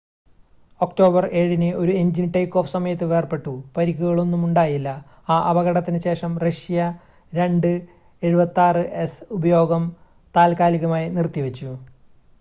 October 7-ന് ഒരു engine take off സമയത്ത് വേർപെട്ടു പരിക്കുകളൊന്നും ഉണ്ടായില്ല ആ അപകടത്തിന് ശേഷം റഷ്യ il-76s ഉപയോഗം താൽക്കാലികമായി നിർത്തിവച്ചു